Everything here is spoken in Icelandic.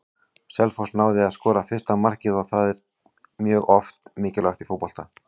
Selfoss náði að skora fyrsta markið og það er oft mjög mikilvægt í fótbolta.